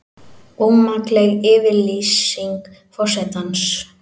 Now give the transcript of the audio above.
Ómakleg yfirlýsing forsetans